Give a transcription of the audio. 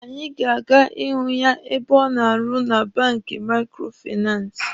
Anyị ga-aga ihụ ya ebe ọ na-arụ na banki maikrofinansi.